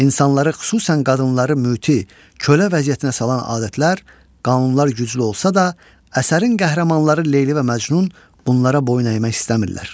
İnsanları, xüsusən qadınları müti, kölə vəziyyətinə salan adətlər, qanunlar güclü olsa da, əsərin qəhrəmanları Leyli və Məcnun bunlara boyun əymək istəmirlər.